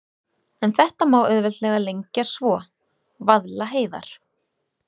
En þetta orð má auðveldlega lengja svo: Vaðlaheiðar.